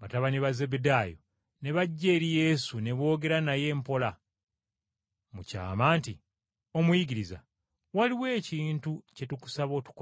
batabani ba Zebbedaayo ne bajja eri Yesu ne boogera naye mpola mu kyama nti. “Omuyigiriza, waliwo ekintu kye tukusaba otukolere.”